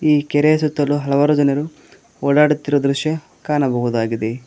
ಈ ಕೆರೆಯ ಸುತ್ತಲು ಹಲವಾರು ಜನರು ಓಡಾಡುತ್ತಿರುವ ದೃಶ್ಯ ಕಾಣಬಹುದಾಗಿದೆ.